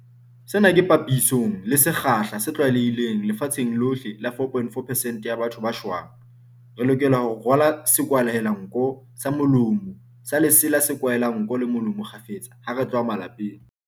Sena ke papisong le sekgahla se tlwaelehileng lefatsheng lohle sa 4.4 percent ya batho ba shwang. Re lokela ho rwala sekwahelanko le molomo sa lesela se kwahelang nko le molomo kgafetsa ha re tloha malapeng.